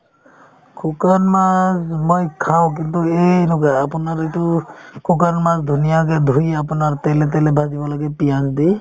শুকান মাছ মই খাওঁ কিন্তু এই এনেকুৱা আপোনাৰ এইটো শুকান মাছ ধুনীয়াকে ধুই আপোনাৰ তেলে তেলে ভাজিব লাগে পিঁয়াজ দি